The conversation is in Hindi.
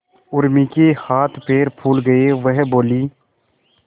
उर्मी के हाथ पैर फूल गए वह बोली